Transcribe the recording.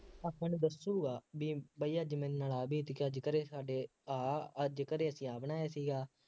ਆਪਣੀ ਦੱਸੂਗਾ, ਬਈ ਬਈ ਅੱਜ ਮੇਰੇ ਨਾਲ ਆਹ ਬੀਤ ਗਿਆ, ਅੱਜ ਘਰੇ ਸਾਡੇ ਆਹ ਅੱਜ ਘਰੇ ਅਸੀਂ ਆਹ ਬਣਾਇਆ ਸੀਗਾ